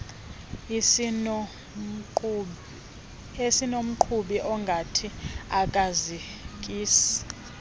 esinomqhubi ongathi akazikisi